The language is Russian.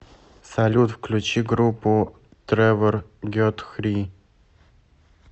салют включи группу тревор гетхри